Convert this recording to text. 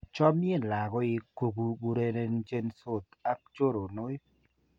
Chomien lakoik kukurenchensot ak choronoik.